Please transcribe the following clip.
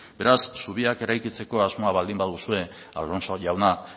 beraz zubiak eraikitzeko asmoa baldin baduzue alonso jauna